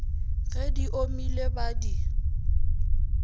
ge di omile ba di